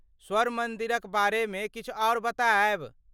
स्वर्ण मन्दिरक बारेमे किछु आर बतायब?